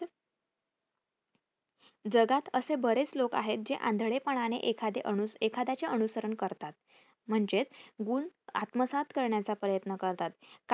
जगात असे बरेच लोक आहेत जे आंधळेपणाने एखादे अनु एखाद्याचे अनुसरण करतात. म्हणजेच गुण आत्मसात करण्याचा प्रयत्न करतात